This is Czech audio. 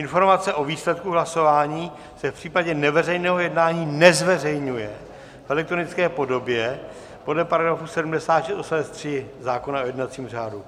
Informace o výsledku hlasování se v případě neveřejného jednání nezveřejňuje v elektronické podobě podle § 76 odst. 3 zákona o jednacím řádu.